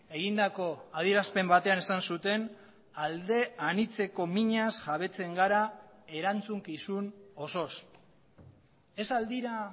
egindako adierazpen batean esan zuten alde anitzeko minaz jabetzen gara erantzukizun osoz ez al dira